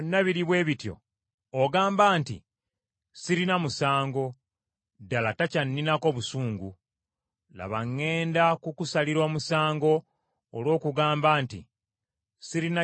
ogamba nti, “Sirina musango, ddala takyanninako busungu!” Laba, ŋŋenda kukusalira omusango olw’okugamba nti, “Sirina kibi kye nkoze.”